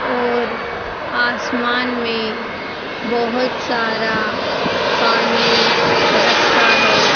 और आसमान में बहोत सारा पानी रखा है।